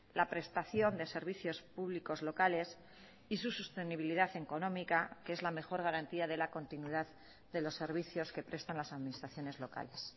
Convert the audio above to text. la prestación de servicios públicos locales y sus sostenibilidad económica que es la mejor garantía de la continuidad de los servicios que prestan las administraciones locales